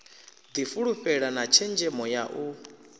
difhulufhela na tshenzhemo ya u